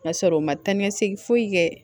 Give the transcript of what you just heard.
Ka sɔrɔ u ma taa ni segin foyi kɛ